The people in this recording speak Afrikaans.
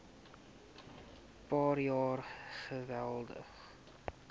paar jaar geweldig